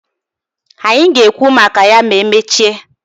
Anyị ga-ekwu maka ya ma emechaa.